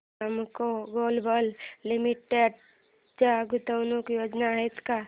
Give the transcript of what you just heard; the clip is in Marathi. प्रेमको ग्लोबल लिमिटेड च्या गुंतवणूक योजना आहेत का